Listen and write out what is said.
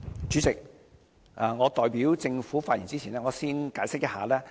主席，我代表政府發言之前，先解釋一下。